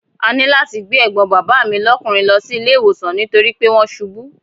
A ní láti gbé ẹ̀gbọ́n bàbá mi lọ́kùnrin lọ sí ilé ìwòsàn nítorí pé wọ́n ṣubú.